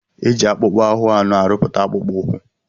E ji akpụkpọ ahụ anụ arụpụta akpụkpọ ụkwụ.